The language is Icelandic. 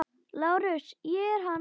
LÁRUS: Ég er hann.